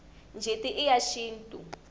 njeti i ya xintu